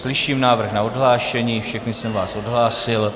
Slyším návrh na odhlášení, všechny jsem vás odhlásil.